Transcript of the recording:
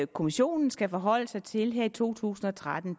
kommissionen skal forholde sig til her i to tusind og tretten